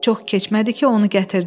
Çox keçmədi ki, onu gətirdilər.